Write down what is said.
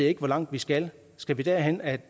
ikke hvor langt vi skal skal vi derhen at